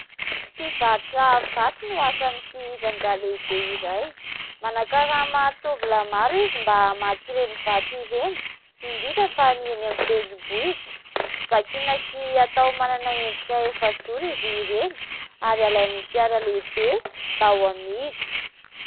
Mpivarotra vato no asan'ity rangahy lehibe iray. Manakarama tovolahy maro izy mba hamaky ireny vato ireny indrindra fa ny eny amin'ny tendrimbohitra. Vakina sy atao manana endrika efajoro izy ireny ary alain'ny fiara lehibe mba ho amidy.